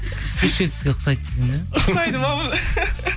бес жүз жетпіс ұқсайды десең иә ұқсайды ма